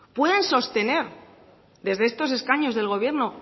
pueden sostener desde estos escaños del gobierno